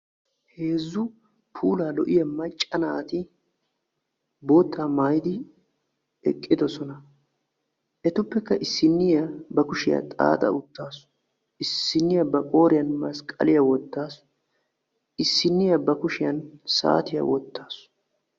heezzu puulanchcha macca naati eqiddossona ettuppekka issiniya ba kushiya xaaxa wottassu issiniyakka bakushiyani saatiya wottassu.